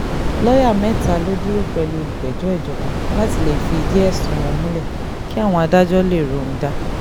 lọ́ọ́yà mẹ́ta ló dúró pẹ̀lú olùpẹ̀jọ́ ìjọba láti lè fi ìdí ẹ̀sùn wọn múlẹ̀ kí àwọn adájọ́ lè róhun dà